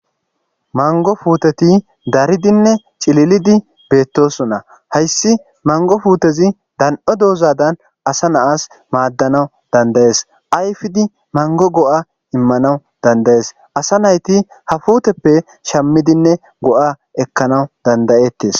Maniggo puteti daridinne cililididi bettosona. Hayis maniggo puteti daniidho dozada assa nayasi madanawu danidayesi ayifidi manigo goa imanawu danidayesi assa nayiti ha putepe shamidine goa ekanawu dandayetes